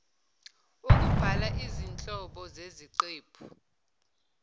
ukubhala izinhlobo zeziqephu